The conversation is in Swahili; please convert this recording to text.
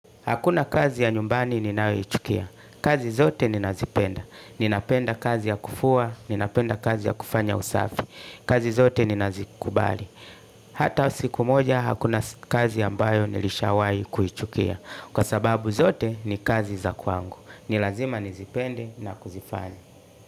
Hakuna kazi ya nyumbani ninayoichukia. Kazi zote ninazipenda. Ninapenda kazi ya kufua, ninapenda kazi ya kufanya usafi. Kazi zote ninazikubali. Hata siku moja hakuna kazi ambayo nilishawai kuichukia. Kwa sababu zote ni kazi za kwangu. Ni lazima nizipende na kuzifanya.